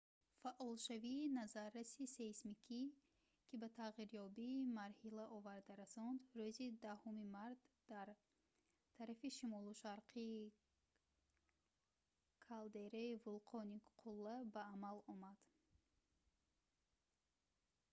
фаъолшавии назарраси сейсмикӣ ки ба тағйирёбии марҳила оварда расонд рӯзи 10 март дар тарафи шимолу шарқии калдераи вулқони қулла ба амал омад